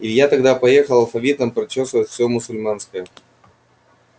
илья тогда поехал алфавитом прочёсывать все мусульманское